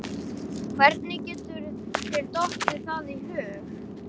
Hvernig getur þér dottið það í hug!